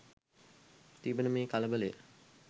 තිබෙන මේ කලබලය